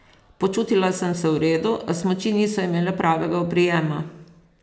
Počutila sem se v redu, a smuči niso imele pravega oprijema.